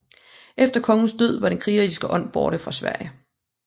Efter kongens død var den krigerske ånd borte fra Sverige